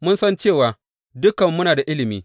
Mun san cewa dukanmu muna da ilimi.